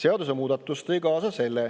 Seadusemuudatus tõi kaasa selle,